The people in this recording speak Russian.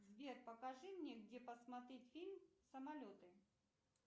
сбер покажи мне где посмотреть фильм самолеты